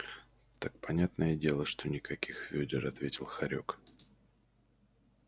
так понятное дело что никаких вёдер ответил хорёк